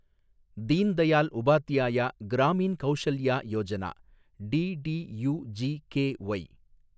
Deen Dayal Upadhyaya Grameen Kaushalya Yojana, DDUGKY